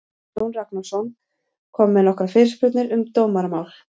Jón Ragnarsson kom með nokkrar fyrirspurnir um dómaramál.